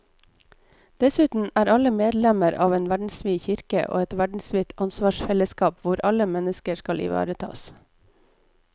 Dessuten er alle medlemmer av en verdensvid kirke og et verdensvidt ansvarsfellesskap hvor alle mennesker skal ivaretas.